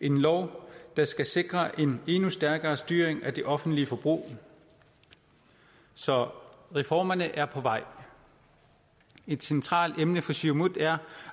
en lov der skal sikre en endnu stærkere styring af det offentlige forbrug så reformerne er på vej et centralt emne for siumut er